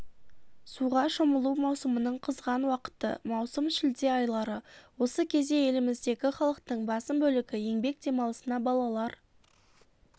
суға шомылу маусымының қызған уақыты маусым-шілде айлары осы кезде еліміздегі халықтың басым бөлігі еңбек демалысына балалар